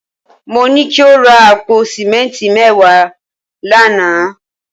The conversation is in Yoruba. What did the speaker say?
Mo ní kí o ra àpò sìmẹ́ǹtì mẹ́wàá lánàá